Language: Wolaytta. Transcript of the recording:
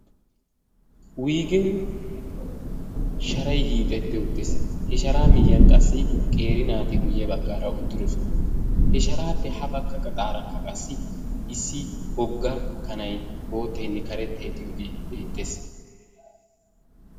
Wuuyigen sharay hiixxetti uttiis. He sharaa miyyiyaan qassi qeri naati guyye baggaara uttidoosona. He sharaappe ha bagga gaxaaraakka issi wogga kanay bootaynne karettay de'iyoogee beettees.